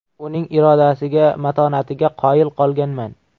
Uning irodasiga, matonatiga qoyil qolganman.